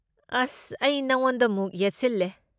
ꯑꯁ! ꯑꯩ ꯅꯉꯣꯟꯗꯃꯨꯛ ꯌꯦꯠꯁꯤꯜꯂꯦ꯫